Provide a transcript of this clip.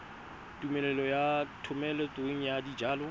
tumelelo ya thomeloteng ya dijalo